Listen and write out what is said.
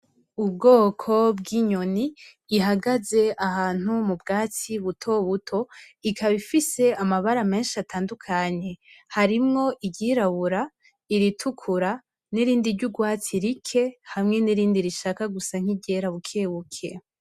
Ubwoko bw'inyoni ihagaze ahantu m'ubwatsi buto buto ikaba ifise amabara meshi atandukanye harimwo iryirabura iritukura n'irindi ry'urwatsi rike hamwe n'irindi rishaka gusa nk'iryera buke buke.